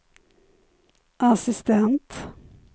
assistent